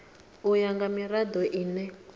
u ya nga mirado ine